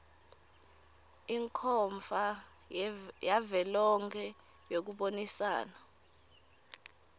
ikhomfa yavelonkhe yekubonisana